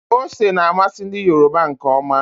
Ose na-amasị ndi Yoruba nke ọma.